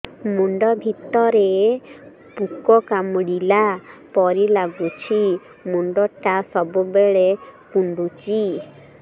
ମୁଣ୍ଡ ଭିତରେ ପୁକ କାମୁଡ଼ିଲା ପରି ଲାଗୁଛି ମୁଣ୍ଡ ଟା ସବୁବେଳେ କୁଣ୍ଡୁଚି